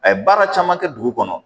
A ye baara caman kɛ dugu kɔnɔ